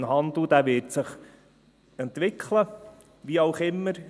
Der Onlinehandel wird sich entwickeln, wie auch immer.